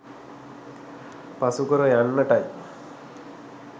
පසුකර යන්නටයි.